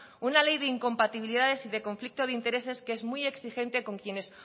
una ley de incompatibilidades y de conflicto de intereses que es muy exigente con quienes